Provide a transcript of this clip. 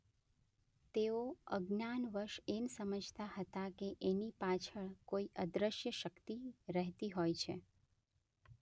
તેઓ અજ્ઞાનવશ એમ સમજતા હતા કે એની પાછળ કોઈ અદૃશ્ય શક્તિ રહેતી હોય છે.